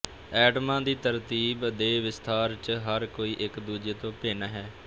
ਐਟਮਾਂ ਦੀ ਤਰਤੀਬ ਦੇ ਵਿਸਥਾਰ ਚ ਹਰ ਕੋਈ ਇੱਕ ਦੂਜੇ ਤੋਂ ਭਿੰਨ ਹੈ